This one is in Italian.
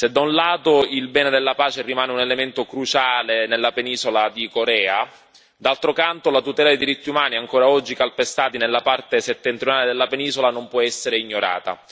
Se, da un lato, il bene della pace rimane un elemento cruciale nella penisola di Corea, d'altro canto la tutela dei diritti umani, ancora oggi calpestati nella parte settentrionale della penisola, non può essere ignorata.